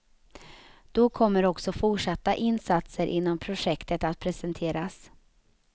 Då kommer också fortsatta insatser inom projektet att presenteras.